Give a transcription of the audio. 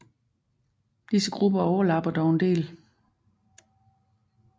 Disse grupper overlapper dog en del